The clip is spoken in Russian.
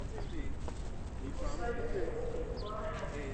курс валюты рубль в гуарани